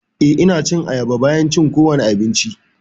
Eh, Ina cin ayaba bayan cin kowane abinci.